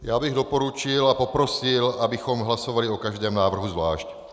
Já bych doporučil a poprosil, abychom hlasovali o každém návrhu zvlášť.